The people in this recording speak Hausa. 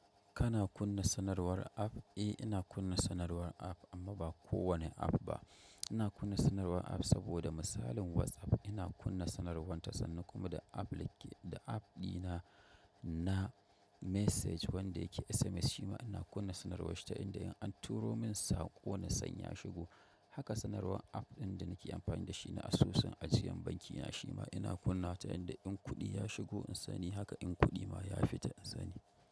Kana kunna sanarwar app? Eh ina kunna sanarwar app amma ba kowane app ba. Ina kunna sanarwar app saboda masalin WhatsApp ina kunna sanarwan ta sanan kuma da applic da app ɗi na na message wanda yake SMS shi ma ina kunna sanarwar shi ta inda in an turo min saƙo na san ya shigo. Haka sanarwar app ɗin da nake amfani da shi na asusun ajiyan banki na shi ma ina kunnawa ta inda in kuɗi ya shigo in sani, haka in kuɗi ma ya fita in sani.